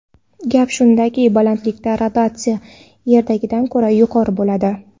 Gap shundaki, balandlikda radiatsiya Yerdagidan ko‘ra yuqori bo‘ladi.